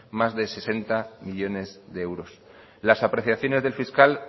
más de sesenta millónes de euros las apreciaciones del fiscal